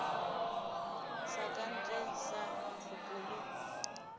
sa ka ntle sa nkgokolo